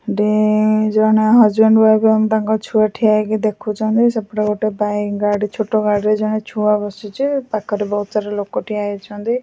ଜଣେ husband wife ଆଉ ତାଙ୍କ ଛୁଆ ଠିଆ ହେଇକି ଦେଖୁଛନ୍ତି ସେପଟେ ଗୋଟେ ବାଇକ୍‌ ଗାଡ଼ି ଛୋଟ ଗାଡିରେ ଜଣେ ଛୁଆ ବସିଛି ପାଖରେ ବହୁତ ସାରା ଲୋକ ଠିଆ ହେଇଛନ୍ତି ।